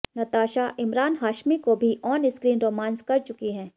नताशा इमरान हाशमी को भी on screen romance कर चुकी हैं